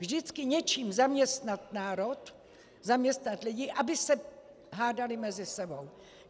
Vždycky něčím zaměstnat národ, zaměstnat lidi, aby se hádali mezi sebou.